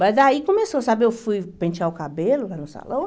Mas daí começou, sabe, eu fui pentear o cabelo lá no salão.